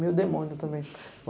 Meio demônio também.